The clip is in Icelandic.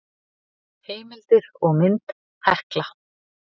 Heimildir og mynd Hekla.